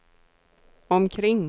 omkring